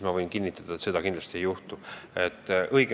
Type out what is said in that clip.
Ma võin kinnitada, et seda kindlasti ei juhtu.